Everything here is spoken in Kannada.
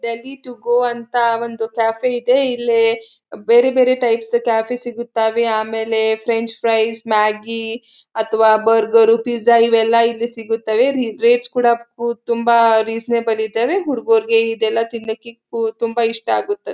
ಡೆಲ್ಲಿ ಟು ಗೋ ಅಂತ ಒಂದು ಕೆಫೆ ಇದೆ ಇಲ್ಲಿ ಬೇರೆ ಬೇರೆ ಟೈಪ್ಸ್ ಕೆಫೇ ಸಿಗುತ್ತಾವೆ ಆಮೇಲೇ ಫ್ರೆಂಚ್ ಫ್ರೈಸ್ ಮ್ಯಾಗ್ಗಿ ಅತ್ವ ಬರ್ಗರು ಪಿಜ್ಜಾ ಇಲ್ಲಿ ಇವೆಲ್ಲಾ ಇಲ್ಲಿ ಸಿಗುತ್ತವೆ ರಿ ರೇಟ್ಸ ಕೂಡ ಕು ತುಂಬಾ ರಿಸ್ನೇಬಲ್ ಇದಾವೆ ಹುಡುಗುರ್ಗೆ ತಿನ್ನಕ್ಕೆ ಕು ತುಂಬಾ ಇಷ್ಟ ಆಗುತ್ತೆ.